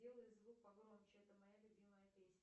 сделай звук погромче это моя любимая песня